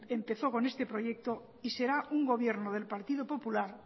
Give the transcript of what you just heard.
empezó con este proyecto y será un gobierno del partido popular